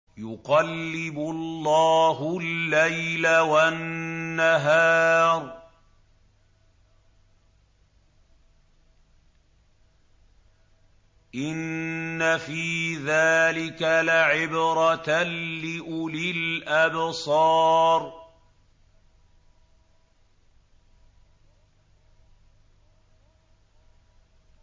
يُقَلِّبُ اللَّهُ اللَّيْلَ وَالنَّهَارَ ۚ إِنَّ فِي ذَٰلِكَ لَعِبْرَةً لِّأُولِي الْأَبْصَارِ